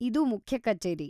ಇದು ಮುಖ್ಯ ಕಚೇರಿ.